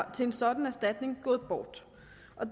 til en sådan erstatning gået bort